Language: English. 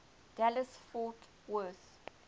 dallas fort worth